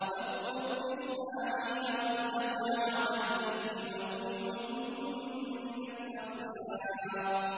وَاذْكُرْ إِسْمَاعِيلَ وَالْيَسَعَ وَذَا الْكِفْلِ ۖ وَكُلٌّ مِّنَ الْأَخْيَارِ